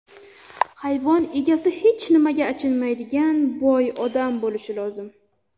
Hayvon egasi hech nimaga achinmaydigan, boy odam bo‘lishi lozim.